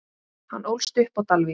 Hann ólst upp á Dalvík.